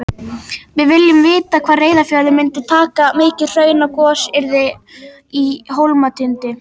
Við viljum vita hvað Reyðarfjörður myndi taka mikið hraun ef gos yrði í Hólmatindi.